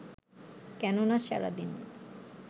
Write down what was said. কেননা সারাদিনের